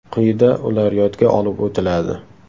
Quyida ular yodga olib o‘tiladi.